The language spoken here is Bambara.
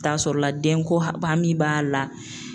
I bi taa sɔrɔla den ko hami b'a la